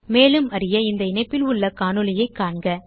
மேலும் அறிய இந்த இணைப்பில் உள்ள காணொளியைக் காணவும்